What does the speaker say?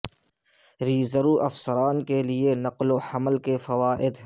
reserve افسران کے لئے نقل و حمل کے فوائد